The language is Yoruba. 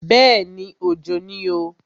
Bẹ́ẹ̀ni, Òjò ni o.